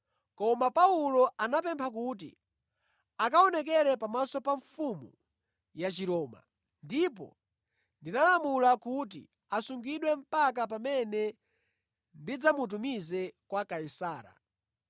Koma Paulo anapempha kuti akaonekere pamaso pa mfumu ya Chiroma, ndipo ndinalamula kuti asungidwe mpaka pamene ndidzamutumize kwa Kaisara.”